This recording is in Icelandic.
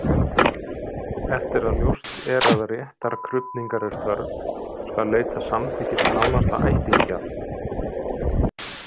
Eftir að ljóst er að réttarkrufningar er þörf skal leita samþykkis nánasta ættingja.